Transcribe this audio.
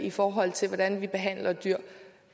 i forhold til hvordan vi behandler dyr